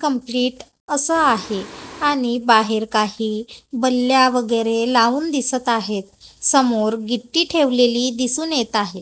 Complete असं आहे आणि बाहेर काही बल्ल्या वगैरे लावून दिसत आहेत समोर गिट्टी ठेवलेली दिसून येत आहे.